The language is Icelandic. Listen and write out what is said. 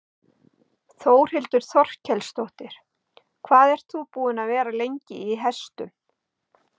Þórhildur Þorkelsdóttir: Hvað ert þú búin að vera lengi í hestum?